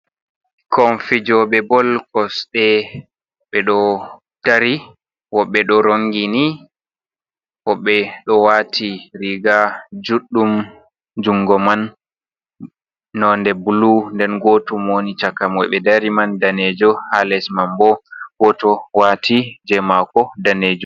Ɓikkon fijobe bol kosɗe ɓeɗo dari woɓɓe ɗo rongini ɓo ɓe ɗo wati riga juɗɗum, jungo man nonde blu nden gotum woni chaka mo ɓe dari man danejo ha les man bo goto wati je mako danejun.